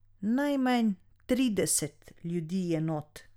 Najmanj trideset ljudi je not.